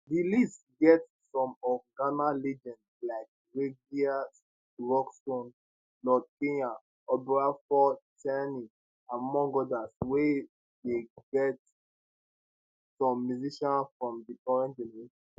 di list gat some of ghana legends like reggie rockstone lord kenya obrafuor tinny among odas wia dey gat some musicians from di current generation